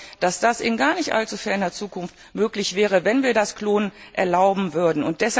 ist. Ich glaube, dass das in gar nicht allzu ferner Zukunft möglich wäre, wenn wir das Klonen erlauben würden.